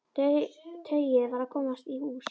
Tauið varð að komast í hús.